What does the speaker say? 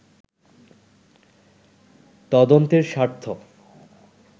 তদন্তের স্বার্থ